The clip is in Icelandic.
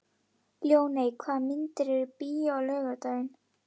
Ljóney, hvaða myndir eru í bíó á laugardaginn?